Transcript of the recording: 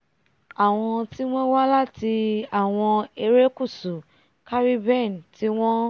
àwọn tí wọ́n wá láti àwọn erékùṣù caribbean tí wọ́n